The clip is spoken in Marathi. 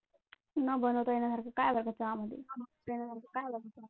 न बनवता येण्यासारखं काय आहे बरका चहामध्ये